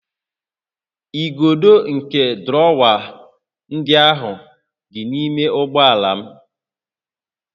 Igodo nke drọwa ndị ahụ dị n'ime ụgbọ ala m